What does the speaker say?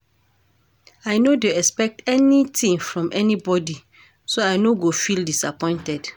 I no dey expect anytin from anybody so I no go feel disappointed.